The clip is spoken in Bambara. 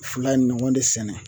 Fila ye nɔgɔn de sɛnɛ